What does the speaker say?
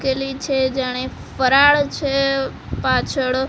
કેલી છે જાણે ફરાળ છે પાછળ.